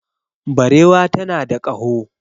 Barewa tana da kaho